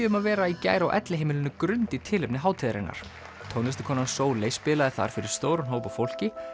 um að vera í gær á elliheimilinu Grund í tilefni hátíðarinnar Sóley spilaði þar fyrir stóran hóp af fólki